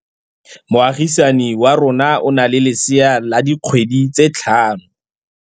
Moagisane wa rona o na le lesea la dikgwedi tse tlhano.